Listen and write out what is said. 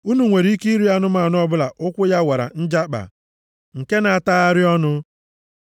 Unu nwere ike iri anụmanụ ọbụla ụkwụ ya wara njakpa. + 11:3 Ya bụ wara abụọ nke na-atagharị ọnụ. + 11:3 Nke na-ata nri ya ugboro abụọ